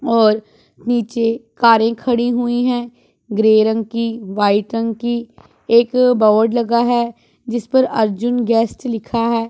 और नीचे कारें खड़ी हुई है ग्रे रंग की वाइट रंग की एक बोर्ड लगा है जिस पर अर्जुन गेस्ट लिखा है।